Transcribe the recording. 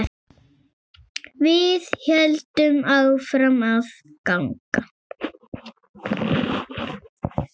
Við héldum áfram að ganga.